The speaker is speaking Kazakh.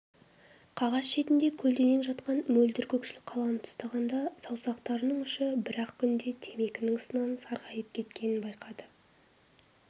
қағаз шетінде көлденең жатқан мөлдір көкшіл қаламды ұстағанда саусақтарының ұшы бір-ақ күнде темекінің ысынан сарғайып кеткенін байқады